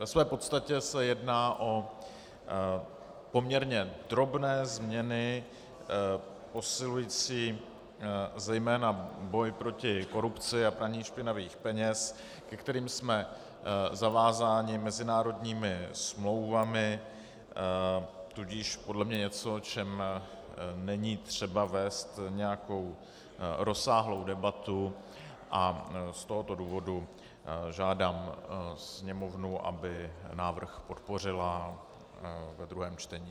Ve své podstatě se jedná o poměrně drobné změny posilující zejména boj proti korupci a praní špinavých peněz, ke kterým jsme zavázáni mezinárodními smlouvami, tudíž podle mě něco, o čem není třeba vést nějakou rozsáhlou debatu, a z tohoto důvodu žádám Sněmovnu, aby návrh podpořila ve druhém čtení.